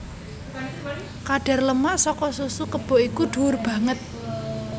Kadhar lemak saka susu kebo iku dhuwur banget